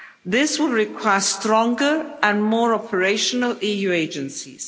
This will require stronger and more operational EU agencies.